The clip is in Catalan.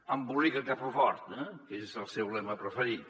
embolica que fa fort eh que és el seu lema preferit